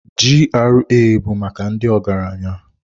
GRA bụ maka ndị ọgaranya.